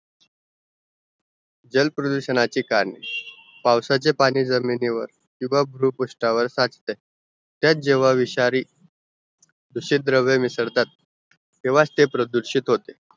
जल प्रदूषणाचे कारण पावसाचेपाणी जमीनीवर किवा बृपुस्तवर साठते त्यात जेव्हा विषारी दुषित द्रव्य मिसळतात त्यावंच ते प्रदूषित होते